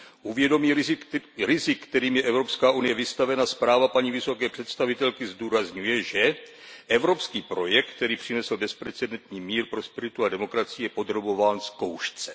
U vědomí rizik, kterým je Evropská unie vystavena, zpráva paní vysoké představitelky zdůrazňuje, že evropský projekt, který přinesl bezprecedentní mír, prosperitu a demokracii, je podrobován zkoušce.